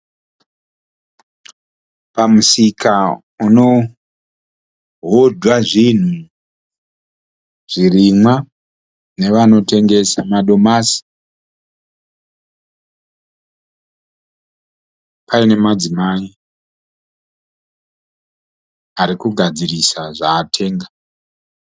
Pamusika unohodwa zvinhu zvirimwa nevanotengesa madomasi. Paine madzimai arikugadzirisa zvaatenga